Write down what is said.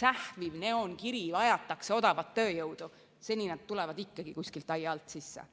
sähviv neoonkiri "Vajatakse odavat tööjõudu", tulevad nad ikkagi kuskilt aia alt sisse.